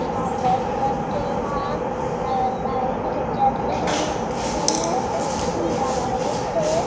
हम दोस्त सब के यहां यहां लाइट जल रहे हे हे लाइट है।